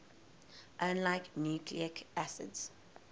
unlike nucleic acids